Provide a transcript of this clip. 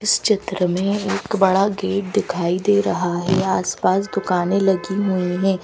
इस चित्र में एक बड़ा गेट दिखाई दे रहा है आसपास दुकानें लगी हुई हैं।